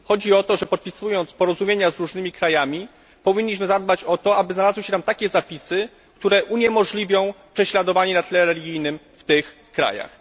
Chodzi o to, że podpisując porozumienia z różnymi krajami, powinniśmy zadbać o to, aby znalazły się tam takie zapisy, które uniemożliwią prześladowanie na tle religijnym w tych krajach.